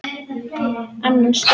Lognið á undan storminum